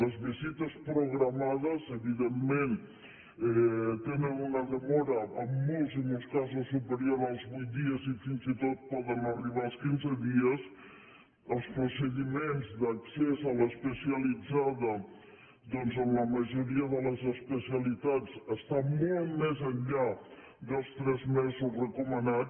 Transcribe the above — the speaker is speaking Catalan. les visites programades evidentment tenen una demora en molts i molts ca·sos superior als vuit dies i fins i tot poden arribar als quinze dies els procediments d’accés a l’especialitza·da doncs en la majoria de les especialitats està molt més enllà dels tres mesos recomanats